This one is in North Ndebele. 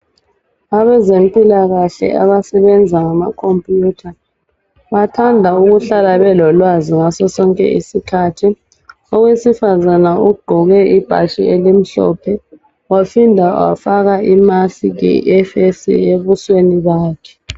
Abezempilakahle abasebenza ngamakhompuyutha, bathanda ukuhlala belolwazi ngaso sonke isikhathi. Owesifazana ogqoke ibhatshi elimhlophe, waphinda wafaka imasikhi ebusweni bakhe.